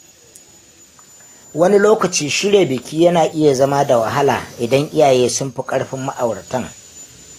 Wani lokaci, shirya biki yana iya zama da wahala idan iyaye sun fi ƙarfin ma’auratan